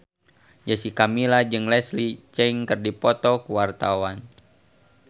Jessica Milla jeung Leslie Cheung keur dipoto ku wartawan